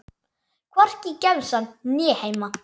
Hvorki í gemsann né heima.